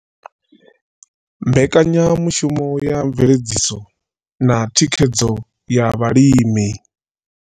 Mbekanyamushumo ya mveledziso na thikhedzo ya vhalimi.